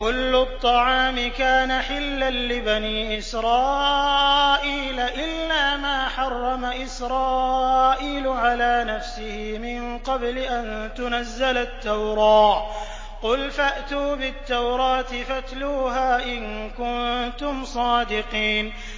۞ كُلُّ الطَّعَامِ كَانَ حِلًّا لِّبَنِي إِسْرَائِيلَ إِلَّا مَا حَرَّمَ إِسْرَائِيلُ عَلَىٰ نَفْسِهِ مِن قَبْلِ أَن تُنَزَّلَ التَّوْرَاةُ ۗ قُلْ فَأْتُوا بِالتَّوْرَاةِ فَاتْلُوهَا إِن كُنتُمْ صَادِقِينَ